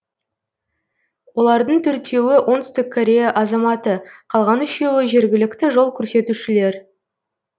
олардың төртеуі оңтүстік корея азаматы қалған үшеуі жергілікті жол көрсетушілер